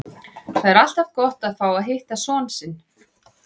Það er alltaf gott að fá að hitta son sinn.